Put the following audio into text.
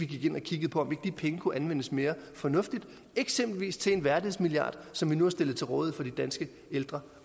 gik ind og kiggede på om de penge kunne anvendes mere fornuftigt eksempelvis til en værdighedsmilliard som vi nu har stillet til rådighed for de danske ældre